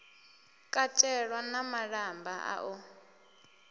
katelwa na malamba a u